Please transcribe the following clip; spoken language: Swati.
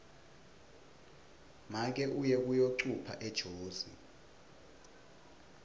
make uye kuyocupha ejozi